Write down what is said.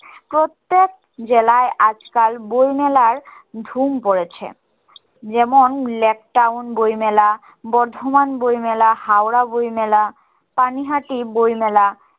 প্রত্যেক জেলায় আজকাল বই মেলার ধুম পড়েছে যেমন lake town বই মেলা বর্ধমান বই মেলা হাওড়া বই মেলা পানি হাটি বই মেলা